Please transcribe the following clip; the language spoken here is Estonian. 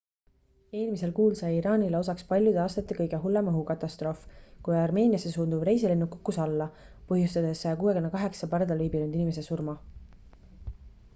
eelmisel kuul sai iraanile osaks paljude aastate kõige hullem õhukatastroof kui armeeniasse suunduv reisilennuk kukkus alla põhjustades 168 pardal viibinud inimese surma